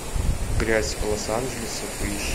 грязь лос анджелеса поищи